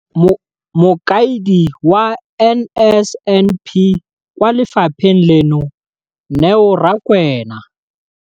Mokaedi wa NSNP kwa lefapheng leno, Neo Rakwena.